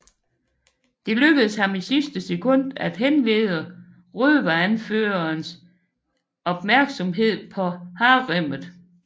Det lykkes ham i sidste sekund at henlede røveranførerens opmærksomhed på haremmet